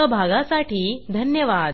सहभागाबद्दल धन्यवाद